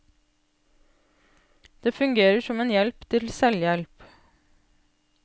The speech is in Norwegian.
Det fungerer som en hjelp til selvhjelp.